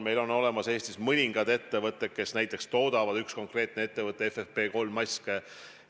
Meil on Eestis üks konkreetne ettevõte, kes toodab FFP3 maske.